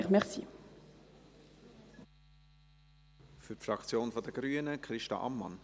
Für die Fraktion der Grünen spricht Christa Ammann.